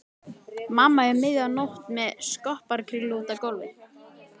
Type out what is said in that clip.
Mamma um miðja nótt með skopparakringlu úti á gólfi.